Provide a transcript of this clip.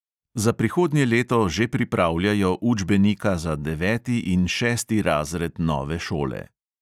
Za prihodnje leto že pripravljajo učbenika za deveti in šesti razred nove šole.